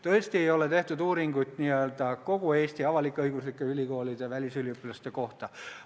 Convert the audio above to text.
Tõesti, uuringuid ei ole tehtud n-ö kõigi Eesti avalik-õiguslike ülikoolide välisüliõpilaste kohta.